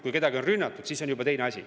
Kui kedagi on rünnatud, siis on juba teine asi.